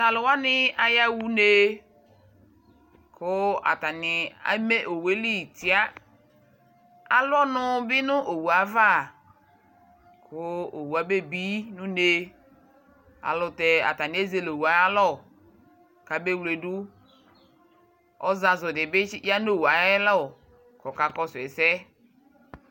Tu aluwani a yaɣa une ku atani eme owue li tia Alu ɔnu bi nu owu yɛ ayava Ku owu aba bi nu une ayɛlutɛ atani ezele owu yɛ ayu ayalɔ ku aba wledu Ozazu di bi ya nu owu aya lɔ ku ɔkakɔsu ɛsɛ